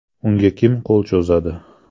Unga kim qo‘l cho‘zadi?.